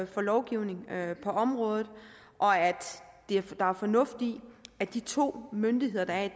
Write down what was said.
for lovgivning på området og at der er fornuft i at de to myndigheder der er i